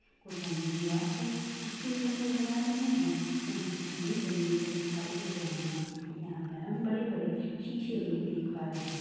कुछ हमें दीवार पर चिपके हुए नजर आ रहे हैं वहीं कुछ हमें जमीन पर दिखाई दे रहे हैं यहाँ पर हम बड़े बड़े सीसे भी देख पा रहे हैं